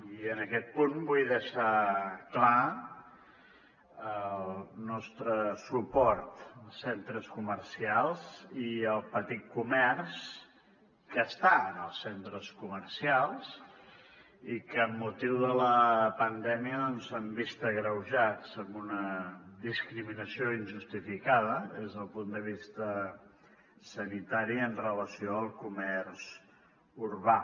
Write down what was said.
i en aquest punt vull deixar clar el nostre suport als centres comercials i al petit comerç que està en els centres comercials que amb motiu de la pandèmia s’han vist agreujats amb una discriminació injustificada des del punt de vista sanitari amb relació al comerç urbà